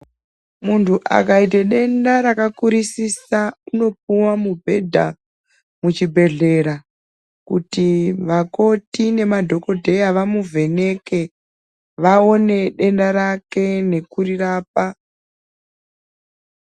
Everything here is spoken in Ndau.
Muntu akaite denda rakakurisisa unopiwa mubhedha muchibhedhlera kuti vakoti nemadhokodheya vamuvheneke vaone denda rake nekurirapa.